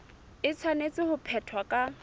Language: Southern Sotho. e tshwanetse ho phethwa ka